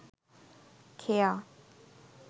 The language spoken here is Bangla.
খেয়া